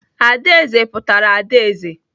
Adaeze pụtakwara adaeze.